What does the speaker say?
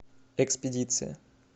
экспедиция